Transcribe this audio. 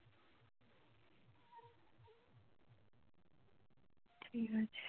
ঠিক আছে